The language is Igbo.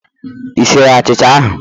Ị siri achicha ahụ?